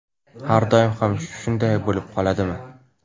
Har doim ham shunday bo‘lib qoladimi?